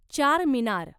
Charminar